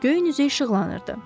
Göylərin üzü işıqlanırdı.